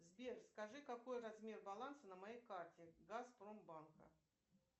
сбер скажи какой размер баланса на моей карте газпром банка